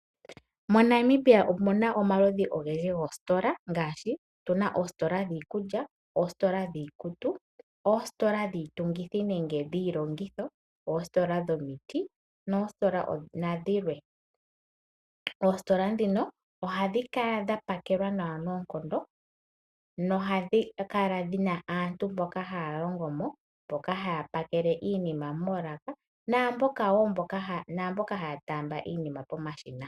MoNamibia omuna omaludhi ogendji goositola ngaashi otuna oositola dhiikulya, oositola dhiikutu, oositola dhiitungithi nenge dhiilongotho, oositola dhomiti noositola dhilwe. Oositola ndhino ohadhi kala dha pakelwa nawa noonkondo nohadhi kala dhina aantu mboka haya longo mo mboka haya pakele iinima moolaka naamboka haya taamba iinima pomashina.